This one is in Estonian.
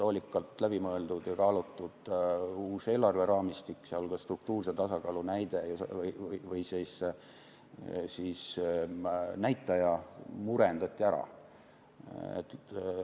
Hoolikalt läbimõeldud ja kaalutud uus eelarveraamistik ning ka struktuurse tasakaalu näitaja murendati ära.